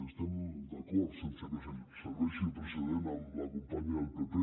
estem d’acord sense que serveixi de precedent amb la companya del pp